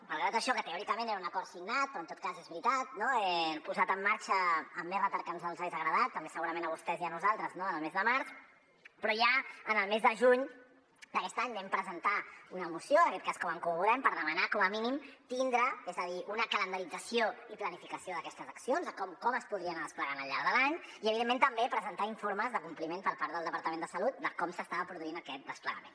malgrat això que teòricament era un acord signat però en tot cas és veritat que ho hem posat en marxa amb més retard del que ens hauria agradat també segurament a vostès i a nosaltres en el mes de març però ja en el mes de juny d’aquest any vam presentar una moció en aquest cas com a en comú podem per demanar com a mínim tindre és a dir una calendarització i planificació d’aquestes accions de com es podrien anar desplegant al llarg de l’any i evidentment també presentar informes de compliment per part del departament de salut de com s’estava produint aquest desplegament